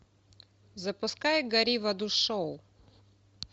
запускай гори в аду шоу